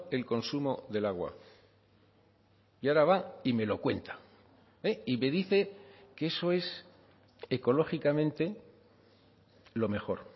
el consumo del agua y ahora va y me lo cuenta y me dice que eso es ecológicamente lo mejor